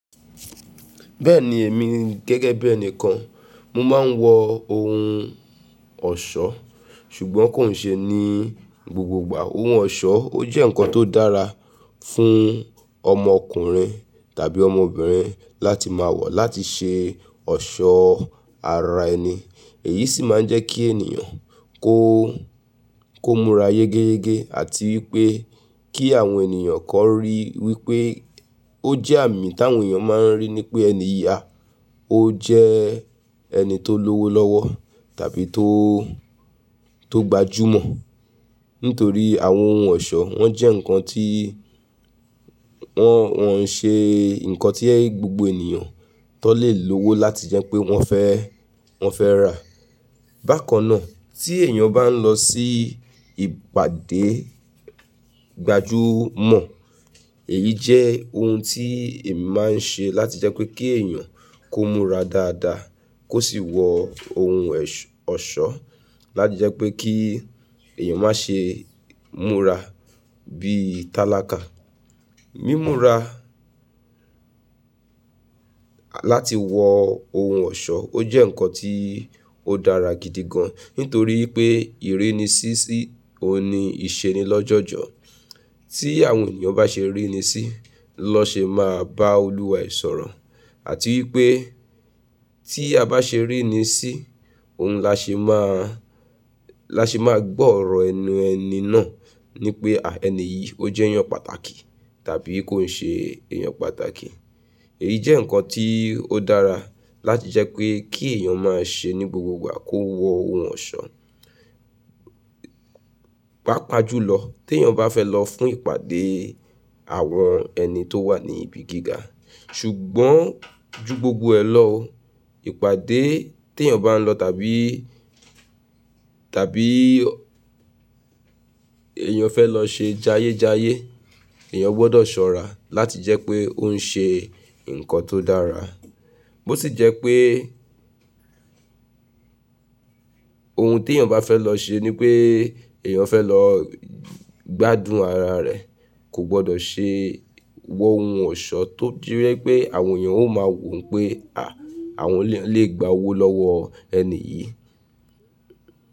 Bẹ́ẹ̀ni èmi gẹ́gẹ́ bí ẹnìkan mo máa ń wọ ohun ọ̀ṣọ́ ṣùgbọ́n kò n ṣe ní gbogbo ìgbà. Ohun ọ̀ṣọ́ ó jẹ́ ǹkan tó dára fún ọmọ ọkùnrin tàbí ọmọbìnrin láti máa wọ̀ láti ṣe ọ̀ṣọ́ ara ẹni. Èyí sì máa ń jẹ́ kí ènìyàn kó, kó múra yégéyégé àti wípé kí àwọn ènìyàn kọ́ rí wípé ó jẹ́ àmì tí àwọn ènìyàn máa ń rí ní pé ènìyí a, ó jẹ ẹni tó lówó lọ́wọ́ tàbí tó, tó gbajúmọ̀. Nítorí àwọn ohun ọ̀ṣọ́ wọ́n jẹ́ ǹkan tí wọ́n, wọn ń ṣe ǹkan tí ẹ gbogbo ènìyàn tó lè lówó láti jẹ́ pé wọ́n fẹ́, wọ́n fẹ́ ràá. Bákan náà tí èèyàn bá ń lọ sí ìpàdé gbajúmọ̀ èyí jẹ́ ohun tí èmi máa ń ṣe láti jẹ́ pé kí èèyàn kó múra dáadáa kó sì wọ ohun ọ̀ṣọ́ láti jẹ́ pé kí èèyàn má ṣe múra bí tálákà. Mímura láti wọ ohun ọ̀ṣọ́ ó jẹ́ ǹkan tí ó dára gidi gan nítorí pé ìri ni si síni ìṣeni lọ́jọ́jọ́. Tí àwọn ènìyàn bá ṣe ríni sí lọ́ ṣe máa bá olúwa ẹ̀ sọ̀rọ̀ àti wípé tí a bá ṣe ríni sí òun la ṣe máa, la ṣe máa gbọ́ ọ̀rọ̀ ẹnu ẹni náà ní pé à ẹni yìí ó jẹ́ èèyàn pàtàkì tàbí kò ń ṣe èèyàn pàtàkì. Èyí jẹ́ ǹkan tí ó dára láti jẹ́ pé kí èèyàn má ṣe ní gbogbo ìgbà kó wọ ohun ọ̀ṣọ́. Pápa jùlọ tí èèyàn bá fẹ́ lọ fún ìpàdé àwọn ẹni tó wà ní ibi gíga ṣùgbọ́n ju gbogbo ẹ lọ ìpàdé tí èèyàn bá ń lọ tàbí, tàbí èèyàn fẹ́ lọ ṣe jayéjayé èèyàn gbọ́dọ̀ ṣọ́ra láti jẹ́ pé ó ń ṣe ǹkan tó dára. Bó sì jẹ́ pé ohun tí èèyàn bá fẹ́ lọ ṣe ni pé èèyàn fẹ́ lọ gbádùn ara rẹ̀ kò gbọ́dọ̀ ṣe wọ ohun ọ̀ṣọ́ tó jẹ́ wípé àwọn èèyàn ó máa wò pé à, àwọn lè gba owó lọ́wọ́ ẹni yìí.